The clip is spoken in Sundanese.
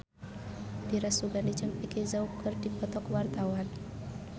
Dira Sugandi jeung Vicki Zao keur dipoto ku wartawan